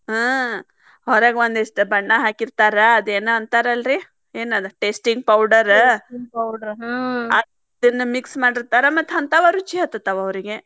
ಹಾ ಹೊರಗ್ ಒಂದಿಷ್ಟ ಬಣ್ಣ ಹಾಕಿರ್ತಾರ ಅದೇನ ಅಂತಾರಲ್ರಿ ಏನದ್ tasting powder ಅದನ್ನ mix ಮಾಡಿರ್ತಾರ ಮತ್ತ್ ಹಂತಾವ ರುಚಿ ಹತ್ತತಾವ ಅವ್ರಿಗೆ.